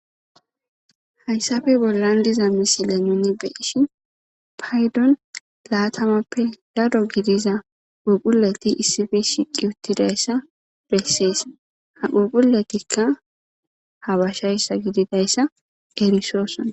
Hayssafe bollan diza misile nuni be'ishshi payddon laatamappe daro gidiza phuphohuleti issife shiqi uttidayssa bessees ha phuphphultikka habashayssa gididayssa erisoossona